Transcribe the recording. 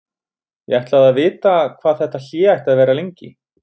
Ég ætlaði að vita hvað þetta hlé ætti að vera lengi.